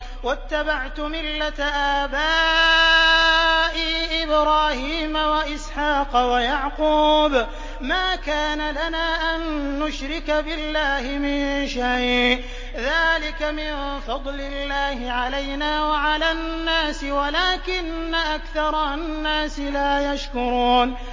وَاتَّبَعْتُ مِلَّةَ آبَائِي إِبْرَاهِيمَ وَإِسْحَاقَ وَيَعْقُوبَ ۚ مَا كَانَ لَنَا أَن نُّشْرِكَ بِاللَّهِ مِن شَيْءٍ ۚ ذَٰلِكَ مِن فَضْلِ اللَّهِ عَلَيْنَا وَعَلَى النَّاسِ وَلَٰكِنَّ أَكْثَرَ النَّاسِ لَا يَشْكُرُونَ